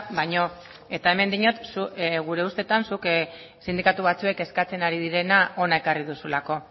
baino eta hemen diot gure ustetan zuk sindikatu batzuek eskatzen ari direna hona ekarri duzulako